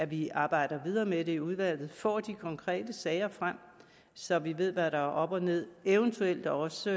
vi arbejder videre med det i udvalget får de konkrete sager frem så vi ved hvad der er op og ned og eventuelt også